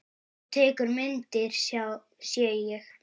Þú tekur myndir, sé ég.